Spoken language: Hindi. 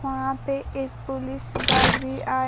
वहां पे एक पुलिस गार्ड भी आ--